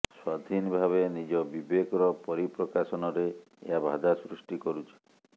ସ୍ୱାଧୀନ ଭାବେ ନିଜ ବିବେକର ପରିପ୍ରକାଶନରେ ଏହା ବାଧା ସୃଷ୍ଟି କରୁଛି